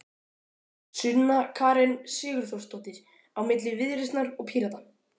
Sunna Karen Sigurþórsdóttir: Á milli Viðreisnar og Pírata?